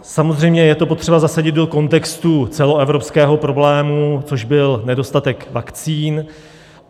Samozřejmě je to potřeba zasadit do kontextu celoevropského problému, což byl nedostatek vakcín.